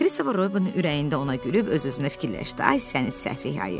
Kristofer Robin ürəyində ona gülüb öz-özünə fikirləşdi: Ay sənin səfeh ayı.